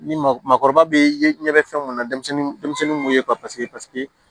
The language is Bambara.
Ni maakɔrɔba be ye ɲɛbɔ fɛn mun na denmisɛnnin m'o ye paseke